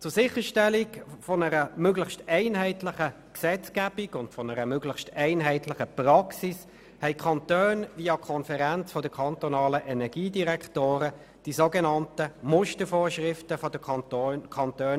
Zur Sicherstellung einer möglichst einheitlichen Gesetzgebung und Praxis haben die Kantone über die EnDK die sogenannten MuKEn erlassen.